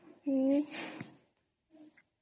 ହଁ